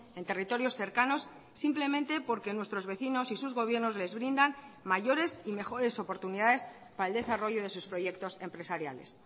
en territorios cercanos simplemente porque nuestros vecinos y sus gobiernos les brindan mayores y mejores oportunidades para el desarrollo de sus proyectos empresariales